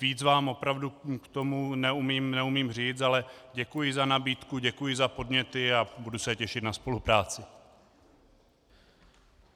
Víc vám opravdu k tomu neumím říct, ale děkuji za nabídku, děkuji za podněty a budu se těšit na spolupráci.